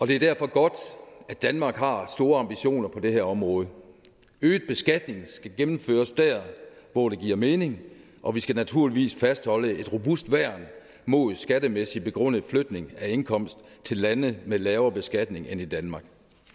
det er derfor godt at danmark har store ambitioner på det her område øget beskatning skal gennemføres der hvor det giver mening og vi skal naturligvis fastholde et robust værn mod skattemæssigt begrundet flytning af indkomst til lande med lavere beskatning end i danmark